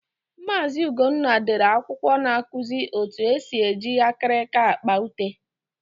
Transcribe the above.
Maazi Ugonna dere akwụkwọ na-akụzi etu esi eji akirika akpa ute.